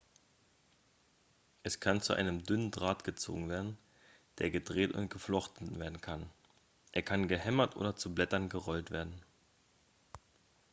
es kann zu einem dünnen draht gezogen werden der gedreht und geflochten werden kann er kann gehämmert oder zu blättern gerollt werden